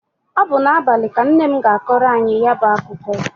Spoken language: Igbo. Ọ bụ n'abalị ka nna m ga-akọrọ anyị ya bụ akụkọ.